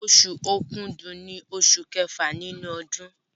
Oṣù Òkúdu ní oṣù kẹfà nínú ọdún